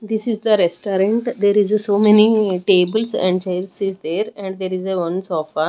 this is the restaurant there is a so many tables and chairs is there and there is a one sofa.